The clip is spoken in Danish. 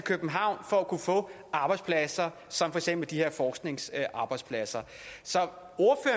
københavn for at kunne få arbejdspladser som for eksempel de her forskningsarbejdspladser så